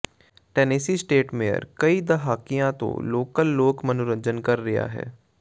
Tennessee state mayor ਕਈ ਦਹਾਕਿਆਂ ਤੋਂ ਲੋਕਲ ਲੋਕ ਮਨੋਰੰਜਨ ਕਰ ਰਿਹਾ ਹੈ